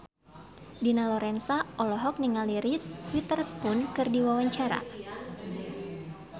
Dina Lorenza olohok ningali Reese Witherspoon keur diwawancara